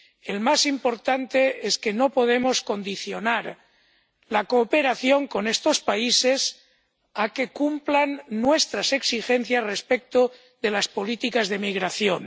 El más importante es que no podemos condicionar la cooperación con estos países a que cumplan nuestras exigencias respecto de las políticas de migración.